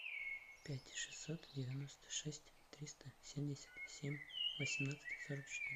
пять шестьсот девяносто шесть триста семьдесят семь восемнадцать сорок четыре